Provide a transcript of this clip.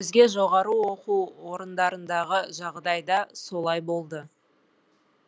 өзге жоғары оқу орындарындағы жағдай да солай болды